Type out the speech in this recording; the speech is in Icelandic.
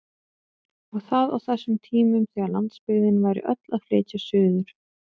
Og það á þessum tímum þegar landsbyggðin væri öll að flytja suður!